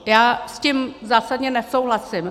Já s tím zásadně nesouhlasím.